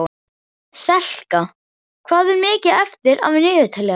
Selka, hvað er mikið eftir af niðurteljaranum?